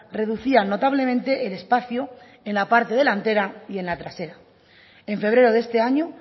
reducían notablemente el espacio en la parte delantera y en la trasera en febrero de este año